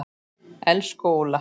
Elsku Óla.